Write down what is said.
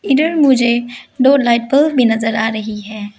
इधर मुझे दो लाइट बल्ब भी नजर आ रही है।